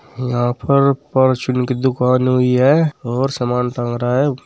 यहाँ पर प्रचुन की दुकान हुई है और सामान टंग रहा है।